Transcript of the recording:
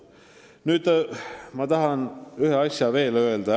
Tahan ühe asja veel ära öelda.